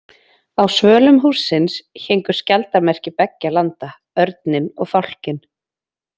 Á svölum hússins héngu skjaldarmerki beggja landa, örninn og fálkinn.